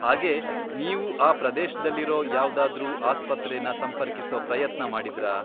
ಹಾಗೇ, ನೀವು ಆ ಪ್ರದೇಶ್ದಲ್ಲಿರೋ ಯಾವ್ದಾದ್ರೂ ಆಸ್ಪತ್ರೆನ ಸಂಪರ್ಕಿಸೋ ಪ್ರಯತ್ನ ಮಾಡಿದ್ರಾ?